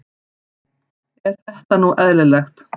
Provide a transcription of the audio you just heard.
Er þetta nú eðlilegt?